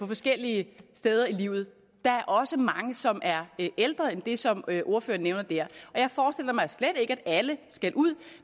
forskellige steder i livet der er også mange som er ældre end det som ordføreren nævner der jeg forestiller mig slet ikke at alle skal ud